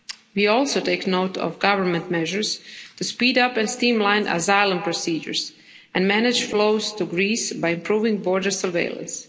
We also take note of government measures to speed up and streamline asylum procedures and manage flows to Greece by improving border surveillance.